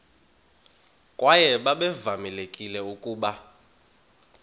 kwaye babevamelekile ukuba